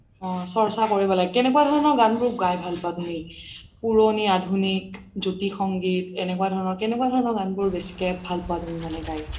অহ চৰ্চা কৰিব লাগে কেনেকুৱা ধৰণৰ গান বোৰ গাই ভাল পুৱা তুমি পুৰণি আধুনিক জ্যোতি সংগীত কেনেকুৱা ধৰণৰ গান বোৰ বেচিকে ভাল পুৱা তুমি মানে গাই